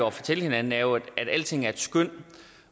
at fortælle hinanden er jo at alting er et skøn